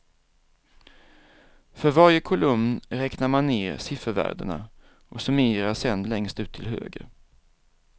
För varje kolumn räknar man ner siffervärdena och summerar sedan längst ut till höger.